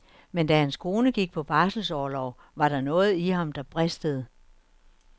Men da hans kone gik på barselsorlov, var der noget i ham, der bristede.